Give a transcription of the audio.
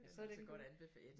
Så den god